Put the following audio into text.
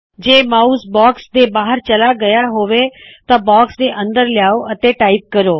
ਜੇ mouse box ਦੇ ਬਾਹਰ ਚਲਾ ਗਇਆ ਹੋਵੇ ਤਾਂ ਬਾਕਸ ਦੇ ਅੰਦਰ ਲਿਆਉ ਅਤੇ ਟਾਇਪ ਕਰੋ